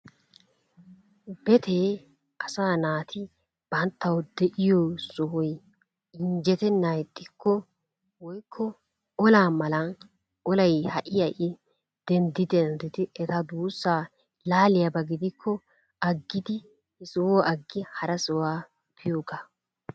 Betee asaa naati banttaw de'iyo sohoy injjetenna ixxikko woykko olaa malan olay ha'i ha'i denddi denddid eta duussa laaliyaaba gidikko aggidi he sohuwa agi hara sohuwaa biyooga.